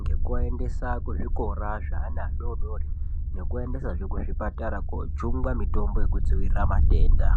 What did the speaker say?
Ngekuaendesa kuzvikora zveana adodori nekuaendesazve kuzvipatara kojungwa mitombo yekudzivirira matenda.